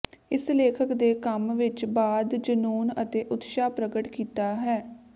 ਇਸ ਲੇਖਕ ਦੇ ਕੰਮ ਵਿੱਚ ਬਾਅਦ ਜਨੂੰਨ ਅਤੇ ਉਤਸ਼ਾਹ ਪ੍ਰਗਟ ਕੀਤਾ ਹੈ